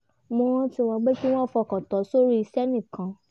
mo rántí wọn pé kí wọ́n fokàn tán s’ọ̀rọ̀ iṣẹ́ nìkan